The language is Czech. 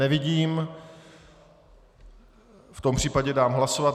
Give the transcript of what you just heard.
Nevidím, v tom případě dám hlasovat.